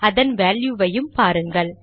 அதன் வேல்யுவையும் பாருங்கள்